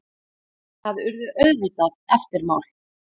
Það urðu auðvitað eftirmál.